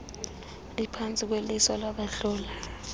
iphantsi kweliso labahloli